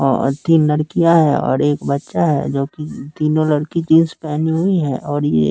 और तीन लड़कियां है और एक बच्चा है जो कि तीनों लड़की जींस पहनी हुई हैं और ये--